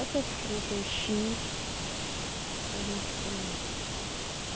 Essas frutas, o chi, para a gente comer.